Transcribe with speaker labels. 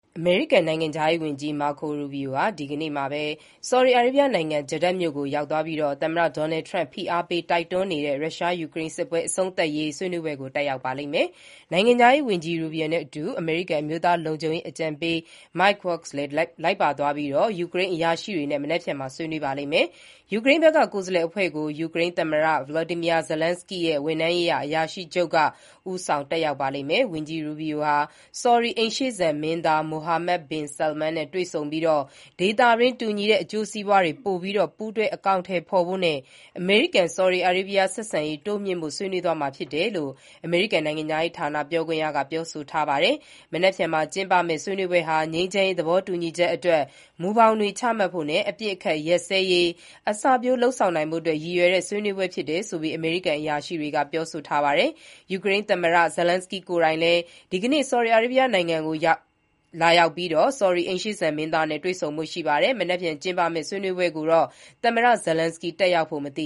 Speaker 1: အမေရိကန် နိုင်ငံခြားရေးဝန်ကြီး Marco Rubio ဟာ ဒီနေ့ Saudi Arabia နိုင်ငံကို Jeddah မြို့ကို ရောက် သွားပြီး သမ္မတ Donald Trump ဖိအားပေးတိုက်တွန်းနေတဲ့ ရုရှား-ယူကရိန်းစစ်ပွဲ အဆုံးသတ်ရေး ဆွေးနွေးပွဲကို တက်ရောက်ဖို့ရှိပါတယ်။ နိုင်ငံခြားရေးဝန်ကြီး Rubio နဲ့အတူ အမေရိကန် အမျိုးသားလုံခြုံရေးအကြံပေး Mike Waltz လည်း လိုက်ပါသွားပြီး ယူကရိန်းအရာရှိတွေနဲ့ မနက်ဖြန်မှာ ဆွေးနွေးကြမှာဖြစ်ပါတယ်။ ယူကရိန်းဘက်က ကိုယ်စားလှယ်အဖွဲ့ကို ယူကရိန်း သမ္မတ Volodomyr Zelenskyy ရဲ့ ဝန်ထမ်းရေးရာအရာရှိချုပ် Andriy Yermak က ဦးဆောင်တက်ရောက်မှာပါ။ ဝန်ကြီး Rubio ဟာ ဆော်ဒီ အိမ်ရှေ့မင်းသား Mohammed bin Salman နဲ့ တွေ့ဆုံပြီး ဒေသတွင်း တူညီတဲ့ အကျိုးစီးပွားတွေ ပိုပြီးပူးတွဲအကောင်အထည်ဖေါ်ဖို့နဲ့ အမေရိကန်-ဆော်ဒီအားရေးဘီးယား ဆက်ဆံရေး တိုးမြှင့်ဖို့ ဆွေးနွေးသွားမှာ ဖြစ်တယ်လို့ အမေရိကန် နိုင်ငံခြားရေးဌာန ပြောခွင့်ရက ပြောဆိုထားပါတယ်။ မနက်ဖြန် အင်္ဂါနေ့ ကျင်းပမယ့်ဆွေးနွေးပွဲဟာ ငြိမ်းချမ်းရေးသဘောတူညီချက်အတွက် မူဘောင်တွေ ချမှတ်ဖို့နဲ့ အပစ်အခတ်ရပ်စဲရေး အစပျိုးလုပ်ဆောင်နိုင်ဖို့ ရည်ရွယ်တဲ့ဆွေးနွေးပွဲဖြစ်တယ်လို့လည်း အမေရိကန် အရာရှိတွေက ပြောထားပါတယ်။ ယူကရိန်း သမ္မတ Zelenskyy ကိုယ်တိုင်လည်း ဒီနေ့ တနင်္လာနေ့ ဆောဒီအာရေဗီးယားနိုင်ငံကို လာရောက်ပြီး ဆော်ဒီ အိမ်ရှေ့မင်းသား Mohammed bin Salman နဲ့ တွေ့ဆုံဖို့ရှိပါတယ်။ မနက်ဖြန် ကျင်းပမယ့် ဆွေးနွေးပွဲကိုတော့ သမ္မတ Zelenskyy တက်ရောက်ဖို့ မသ